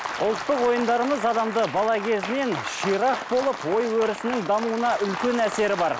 ұлттық ойындарымыз адамды бала кезінен ширақ болып ой өрісінің дамуына үлкен әсері бар